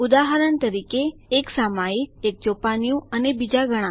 ઉદાહરણ તરીકે એક સામયિક એક ચોપાનિયું અને બીજા ઘણા